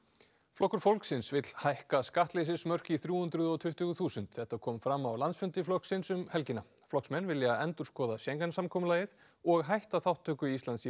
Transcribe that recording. flokkur fólksins vill hækka skattleysismörk upp í þrjú hundruð og tuttugu þúsund þetta kom fram á landsfundi flokksins um helgina flokksmenn vilja endurskoða Schengen samkomulagið og hætta þátttöku Íslands í